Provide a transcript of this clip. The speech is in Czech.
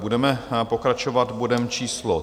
Budeme pokračovat bodem číslo